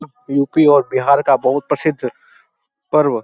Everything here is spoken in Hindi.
यू.पी और बिहार का बहुत प्रसिद्ध पर्व --